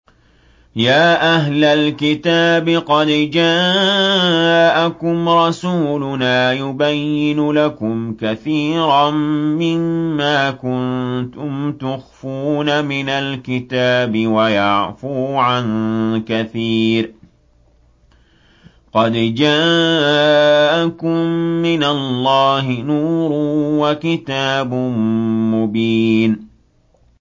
يَا أَهْلَ الْكِتَابِ قَدْ جَاءَكُمْ رَسُولُنَا يُبَيِّنُ لَكُمْ كَثِيرًا مِّمَّا كُنتُمْ تُخْفُونَ مِنَ الْكِتَابِ وَيَعْفُو عَن كَثِيرٍ ۚ قَدْ جَاءَكُم مِّنَ اللَّهِ نُورٌ وَكِتَابٌ مُّبِينٌ